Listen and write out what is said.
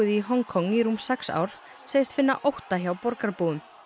í Hong Kong í rúm sex ár segist finna ótta hjá borgarbúum